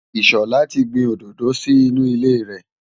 Ìṣọ̀lá ti gbin òdòdó sí inú ilé rẹ̀.